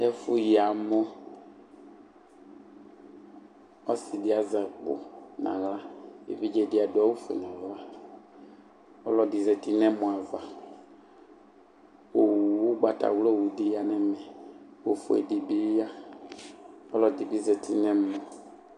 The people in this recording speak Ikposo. Ɛfʋyi amɔ. Ɔsɩ dɩ azɛ akpo nʋ aɣla. Evidze dɩ adʋ awʋfue nʋ ʋɣɔ. Ɔlɔdɩ zati nʋ ɛmɔ ava kʋ owu, ʋgbatawla owu dɩ ya nʋ ɛmɛ kʋ ofue dɩ bɩ ya. Ɔlɔdɩ bɩ zati nʋ ɛmɔ.